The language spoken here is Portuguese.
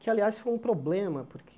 Que, aliás, foi um problema, porque...